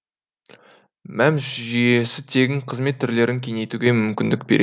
мәмс жүйесі тегін қызмет түрлерін кеңейтуге мүмкіндік береді